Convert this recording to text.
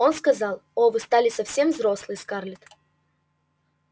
он сказал о вы стали совсем взрослой скарлетт